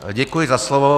Děkuji za slovo.